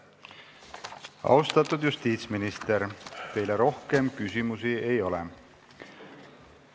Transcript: Austatud justiitsminister, teile rohkem küsimusi ei ole.